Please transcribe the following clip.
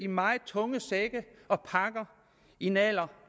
meget tunge sække og pakker i en alder